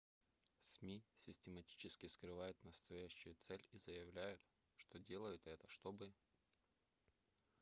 сми систематически скрывают настоящую цель и заявляют что делают это чтобы предотвратить пиратство